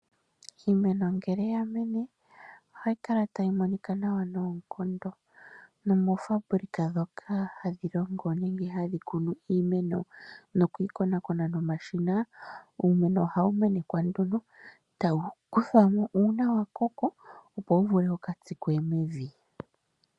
Iimeno ngele yamene ohayi kala tayi monika nawa noonkondo nomofabulika ndhoka hadhi kunu iimeno nokukonakona nomashina uumeno ohaeu menekwa nduno tawu kuthwamo shampa wakoko, opo wu vule wukatsikwe mevi.